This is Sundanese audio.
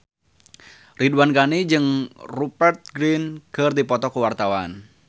Ridwan Ghani jeung Rupert Grin keur dipoto ku wartawan